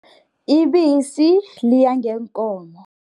Ibisi liya ngeenkomo.